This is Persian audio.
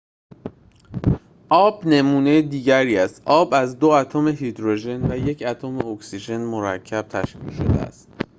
آب نمونه دیگری است آب از دو اتم هیدروژن و یک اتم اکسیژن مرکب تشکیل شده است